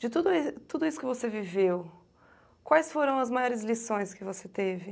De toda e, tudo isso que você viveu, quais foram as maiores lições que você teve?